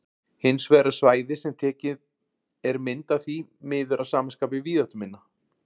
Hins vegar er svæðið sem tekin er mynd af því miður að sama skapi víðáttuminna.